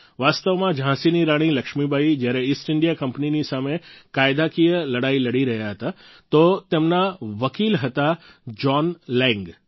વાસ્તવમાં ઝાંસીની રાણી લક્ષ્મીબાઈ જ્યારે ઈસ્ટ ઈન્ડિયા કંપનીની સામે કાયદાકીય લડાઈ લડી રહ્યા હતા તો તેમના વકિલ હતા જોન લૈંગ